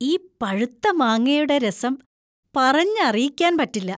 ഈ പഴുത്ത മാങ്ങയുടെ രസം പറഞ്ഞറിയിക്കാൻ പറ്റില്ല.